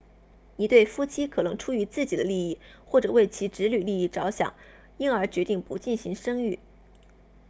一对夫妻可能出于自己的利益或者为其子女利益着想因而决定不进行生育